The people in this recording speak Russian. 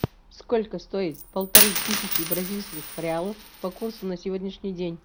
сколько стоит полторы тысячи бразильских реалов по курсу на сегодняшний день